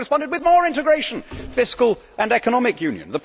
So we have responded with more integration fiscal and economic union.